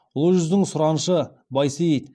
ұлы жүздің сұраншы байсейіт